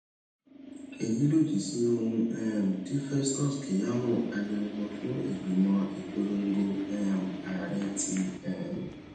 èyí lòdì sí ohun um tí festus keyamo agbẹnusọ fún ìgbìmọ ìpolongo um ààrẹ ti um